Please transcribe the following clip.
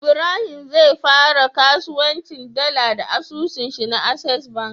Ibrahim zai fara kasuwancin dala da asusun shi na access bank